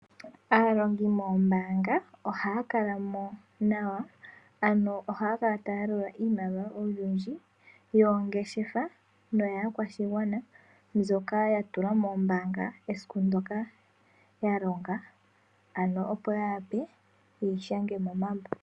Aalongi moombaanga ohaya kalamo nawa, ano ohaya kala taya yalula iimaliwa olundji yoongeshefa, noyaakwashigwana, mbyoka yatulwa mombaanga esiku ndyoka yalonga, ano opo yeyi shange momambo.